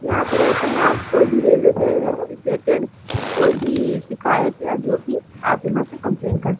यहां पे रहते हैंआप कोई भी रेलवे से सिचुएटेड कोई भी शिकायत या जो भी आप यहां पे कंप्लेंट कर सक--